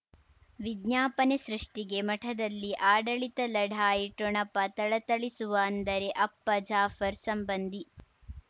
ವಿಜ್ಞಾಪನೆ ಸೃಷ್ಟಿಗೆ ಮಠದಲ್ಲಿ ಆಡಳಿತ ಲಢಾಯಿ ಠೊಣಪ ಥಳಥಳಿಸುವ ಅಂದರೆ ಅಪ್ಪ ಜಾಫರ್ ಸಂಬಂಧಿ